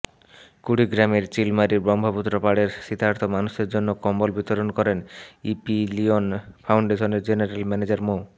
কুড়িগ্রামের চিলমারীর ব্রহ্মপুত্র পাড়ের শীতার্ত মানুষের মধ্যে কম্বল বিতরণ করেন ইপিলিয়ন ফাউন্ডেশনের জেনারেল ম্যানেজার মো